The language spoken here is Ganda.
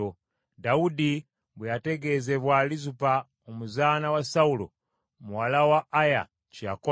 Dawudi bwe yategeezebwa, Lizupa omuzaana wa Sawulo, muwala wa Aya, kye yakola,